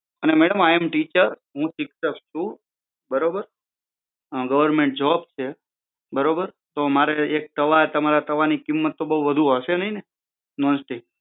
અને madam i am teacher હું શિક્ષક છુ બરોબર અં ગવર્મેન્ટ જોબ છે બરોબર તો મારે એક તમારા તવાની કિંમત તો વધારે હશે નહિ ને નોન સ્ટીક